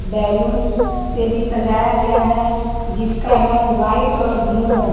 Balloon से भी सजाया गया है जिसका रंग व्हाइट और ब्लू है।